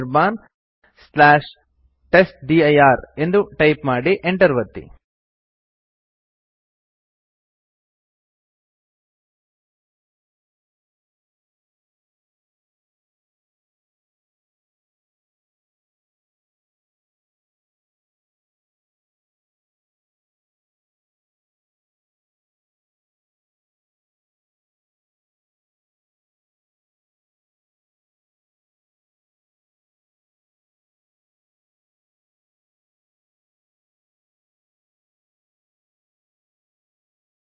ಈ0 ಆದೇಶವು test one test two test three ಎಂಬ ಮೂರು ಫೈಲ್ ಗಳನ್ನು homeanirbantestdir ಎಂಬಲ್ಲಿ ಹೆಸರಿನ ಬದಲಾವಣೆ ಇಲ್ಲದೇ ಕಾಪಿ ಮಾಡುತ್ತದೆ